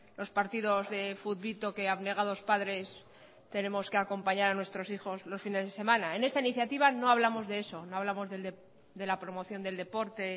los partidos de futbito que abnegados padres tenemos que acompañar a nuestros hijos los fines de semana en esta iniciativa no hablamos de eso no hablamos de la promoción del deporte